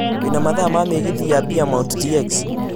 wĩna mathaa ma mĩgithi ya Beaumont tx